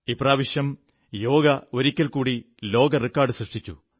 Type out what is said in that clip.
ഇപ്രാവശ്യം യോഗ ഒരിക്കൽ കൂടി ലോക റെക്കാഡ് സൃഷ്ടിച്ചു